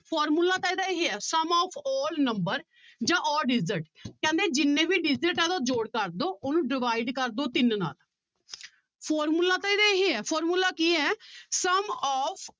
formula ਤਾਂ ਇਹਦਾ ਇਹ ਹੈ sum of all numbers ਜਾਂ all digits ਕਹਿੰਦੇ ਜਿੰਨੇ ਵੀ digit ਆ ਉਹਦਾ ਜੋੜ ਕਰ ਦਓ ਉਹਨੂੰ divide ਕਰ ਦਓ ਤਿੰਨ ਨਾਲ formula ਤਾਂ ਇਹਦਾ ਇਹ ਹੈ formula ਕੀ ਹੈ sum of